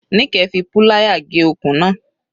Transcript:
Nike fi púláyà gé okùn náà.